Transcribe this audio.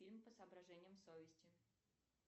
фильм по соображениям совести